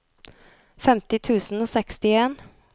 femti tusen og sekstien